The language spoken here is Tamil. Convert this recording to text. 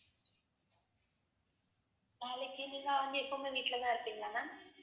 நாளைக்கு நீங்க வந்து எப்பவுமே வீட்டுலதான் இருப்பீங்களா ma'am